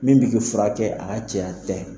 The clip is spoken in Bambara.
Min b'i ki furakɛ a ka cɛya tɛ